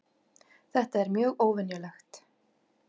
Þetta er mjög óvenjulegt